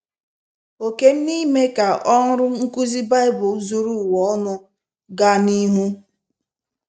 Òkè m n’ime ka ọrụ nkụzi Baịbụl zuru ụwa ọnụ ọnụ gaa n’Ihu